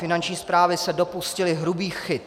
Finanční správy se dopustily hrubých chyb.